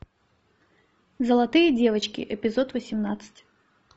золотые девочки эпизод восемнадцать